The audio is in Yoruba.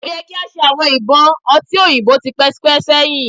O yẹ ki a ti ṣe awọn ibọn ọti oyinbo tipẹtipẹ sẹhin